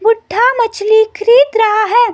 बूढ़ा मछली ख़रीद रहा है।